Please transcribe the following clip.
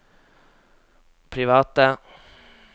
private